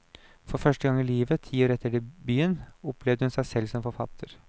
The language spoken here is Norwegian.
For første gang i livet, ti år efter debuten, opplevde hun seg selv som forfatter.